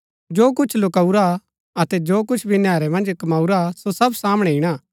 जो कुछ लुकाऊरा अतै जो कुछ भी नैहरै मन्ज कमाऊरा सो सब सामणै ईणा